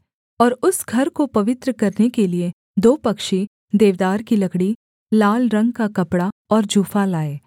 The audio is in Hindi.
और उस घर को पवित्र करने के लिये दो पक्षी देवदार की लकड़ी लाल रंग का कपड़ा और जूफा लाए